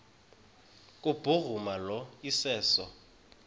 kubhuruma lo iseso